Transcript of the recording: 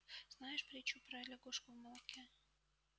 знаешь притчу про лягушку в молоке